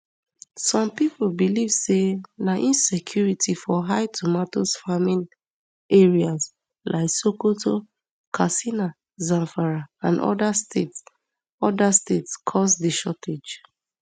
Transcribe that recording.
some pipo believe say na insecurity for high tomatoes farming areas like sokoto katsina zamfara and oda states oda states cause di shortage